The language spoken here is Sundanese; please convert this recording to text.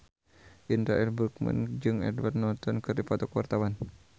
Indra L. Bruggman jeung Edward Norton keur dipoto ku wartawan